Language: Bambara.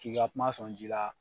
K'i ka kuma sɔn ji la.